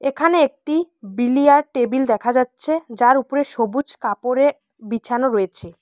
এখানে একটি billiard table দেখা যাচ্ছে যার উপরে সবুজ কাপড়ে বিছানো রয়েছে।